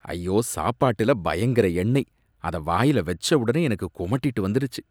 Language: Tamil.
ஐயோ, சாப்பாட்டுல பயங்கர எண்ணெய், அத வாய்ல வச்ச உடனே எனக்கு குமட்டிட்டு வந்துடுச்சு.